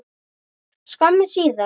skömmu síðar.